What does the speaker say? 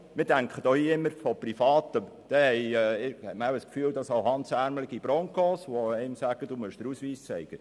Wir denken bei Privaten immer an hemdsärmelige Broncos, die einem sagen, man solle den Ausweis zeigen.